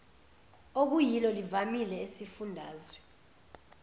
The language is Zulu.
okuyilo livamile esifundazwe